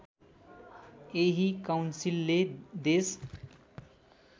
यही काउन्सिलले देश